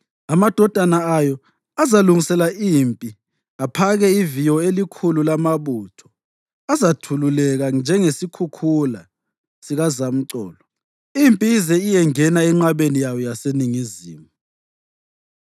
Amadodana ayo azalungisela impi aphake iviyo elikhulu lamabutho azathululeka njengesikhukhula sikazamcolo impi ize iyengena enqabeni yayo eyaseNingizimu.